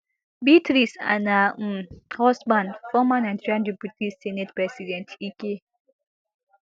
beatrice and her um husband former nigeria deputy senate president ike